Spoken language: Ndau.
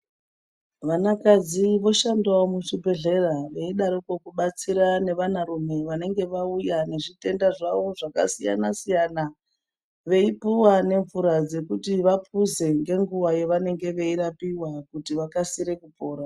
Vana kadzi voshandawo muzvibhehlera veidaroko kubatsira nevana rume vange vauya nezvitenda zvavo zvakasiyana siyana veipuwa nemvura dzekuti vapuze ngenguwa yavanenge veirapiwa kuti vakasire kupora.